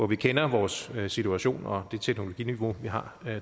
vi kender vores situation og det teknologiniveau vi har